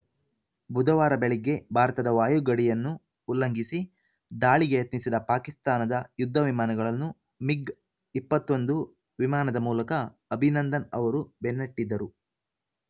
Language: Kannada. ಬುಧವಾರ ಬೆಳಗ್ಗೆ ಭಾರತದ ವಾಯು ಗಡಿಯನ್ನು ಉಲ್ಲಂಘಿಸಿ ದಾಳಿಗೆ ಯತ್ನಿಸಿದ ಪಾಕಿಸ್ತಾನದ ಯುದ್ಧ ವಿಮಾನಗಳನ್ನು ಮಿಗ್‌ ಇಪ್ಪತ್ತ್ ಒಂದು ವಿಮಾನದ ಮೂಲಕ ಅಭಿನಂದನ್‌ ಅವರು ಬೆನ್ನಟ್ಟಿದ್ದರು